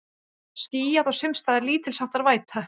Skýjað og sums staðar lítilsháttar væta